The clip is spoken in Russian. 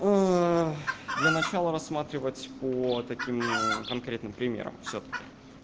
для начала рассматривать по таким конкретным примерам всё-таки